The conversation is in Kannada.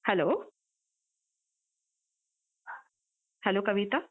Hello , hello Kavita?